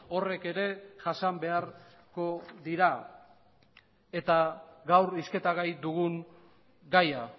horrek ere jasan beharko dira eta gaur hizketagai dugun gaia